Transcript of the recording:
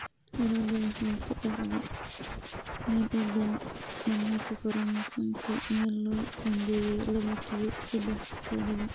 Tirtiridda waxay ku dhacdaa meel u dhow dhammaadka koromosoomka meel loo qoondeeyay laba q sedex todoba.